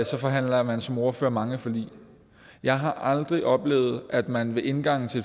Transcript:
så forhandler man som ordfører mange forlig jeg har aldrig før oplevet at man ved indgangen til